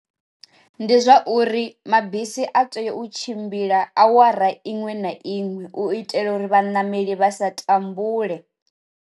Ndi zwa uri mabisi a tea u tshimbila awara iṅwe na iṅwe u itela uri vha nameli vha sa tambule.